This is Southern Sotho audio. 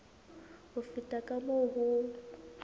ho feta ka moo ho